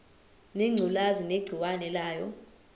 ngengculazi negciwane layo